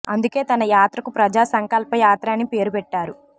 అందుకే తన యాత్రకు ప్రజా సంకల్ప యాత్ర అని పేరు పెట్టారు